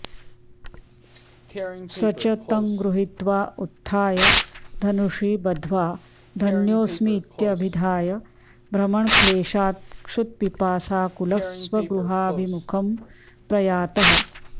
स च तं गृहीत्वा उत्थाय धनुषि बद्ध्वा धन्योऽस्मीत्यभिधाय भ्रमणक्लेशात्क्षुत्पिपासाकुलः स्वगृहाभिमुखं प्रयातः